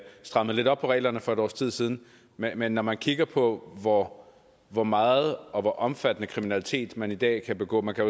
strammede lidt op på reglerne for et års tid siden men når man kigger på hvor hvor meget og hvor omfattende kriminalitet man i dag kan begå man kan